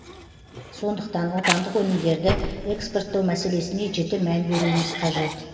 сондықтан отандық өнімдерді экспорттау мәселесіне жіті мән беруіміз қажет